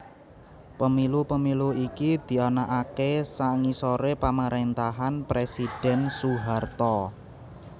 Pemilu Pemilu iki dianakaké sangisoré pamaréntahan Presidhèn Soeharto